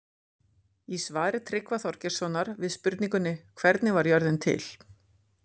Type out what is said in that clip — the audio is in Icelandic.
Í svari Tryggva Þorgeirssonar við spurningunni Hvernig varð jörðin til?